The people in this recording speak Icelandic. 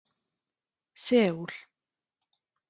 Seúl